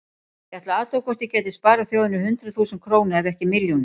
Ég ætlaði að athuga hvort ég gæti sparað þjóðinni hundruð þúsunda króna ef ekki milljónir.